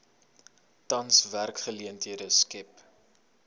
tans werksgeleenthede skep